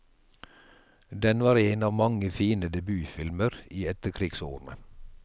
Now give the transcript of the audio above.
Den var en av mange fine debutfilmer i etterkrigsårene.